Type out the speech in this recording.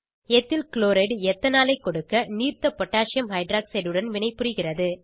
ethyl chloride எத்தனாலை ஐ கொடுக்க நீர்த்த பொட்டாசியம் ஹைட்ராக்சைட் உடன் வினைப்புரிகிறது